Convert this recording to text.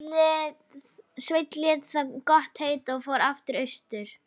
Sveinn lét það gott heita og fór aftur austur.